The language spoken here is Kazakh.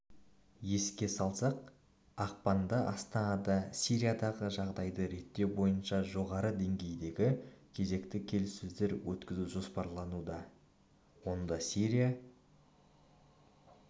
еске салсақ ақпанда астанада сириядағы жағдайды реттеу бойынша жоғарғы деңгейдегі кезекті келіссөздер өткізу жоспарлануда онда сирия